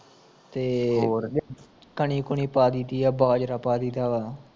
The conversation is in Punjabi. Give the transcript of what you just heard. ਤੇ ਹੋਰ ਕਣੀ ਕੂਣੀ ਪਾ ਦਈ ਦੀ ਆ ਬਾਜਰਾ ਪ ਦਈਦਾ ਵਾ